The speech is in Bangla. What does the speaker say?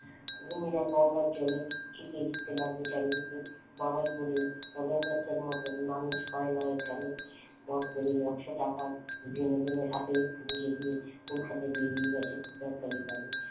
গিন্নিরা গঙ্গার জল ছিটিয়ে দিতে লাগল চারিদিকে। বাবাই বলল নগেন দত্তর মতো মানুষ হয় না এখানে কড়কড়িয়ে একশ টাকাই বেনু ডোমকে হাতে গুঁজে দিয়ে কলকাতাই বেরিয়ে গেছে দরকারি কাজে